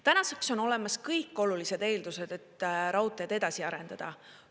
Tänaseks on olemas kõik olulised eeldused, et raudteed edasi arendada.